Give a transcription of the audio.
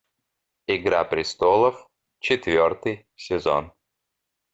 игра престолов четвертый сезон